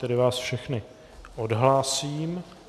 Tedy vás všechny odhlásím.